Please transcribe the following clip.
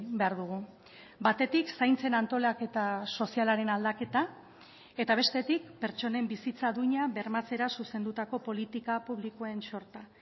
behar dugu batetik zaintzen antolaketa sozialaren aldaketa eta bestetik pertsonen bizitza duina bermatzera zuzendutako politika publikoen sorta